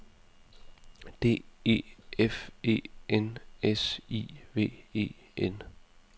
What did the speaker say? D E F E N S I V E N